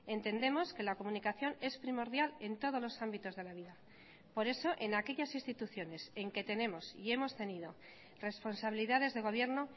entendemos que la comunicación es primordial en todos los ámbitos de la vida por eso en aquellas instituciones en que tenemos y hemos tenido responsabilidades de gobierno